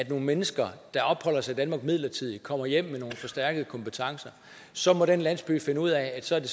mennesker der opholder sig i danmark midlertidigt kommer hjem med nogle forstærkede kompetencer så må den landsby finde ud af at så er det